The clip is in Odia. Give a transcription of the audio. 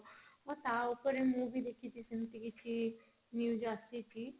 ହଁ ତାଉପରେ ମୁଁ ବି ଦେଖିଛି ସେମତି କିଛି news ଆସିଛି